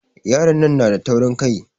Yaron nan na da taurin Kai.